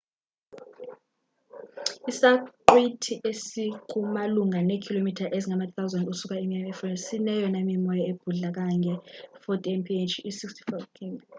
isaqhwithi esiku malunga neekhilomitha ezingama-3000 ukusuka emiami eflorida sineyona mimoya ebhudla kangange -40 mph i-64 kph